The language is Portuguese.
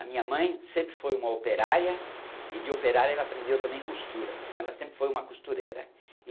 A minha mãe sempre foi uma operária, e de operária ela aprendeu também costura, então ela sempre foi uma costureira.